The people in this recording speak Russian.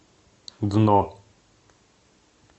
дно